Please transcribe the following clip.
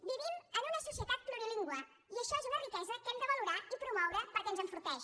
vivim en una societat plurilingüe i això és una riquesa que hem de valorar i promoure perquè ens enforteix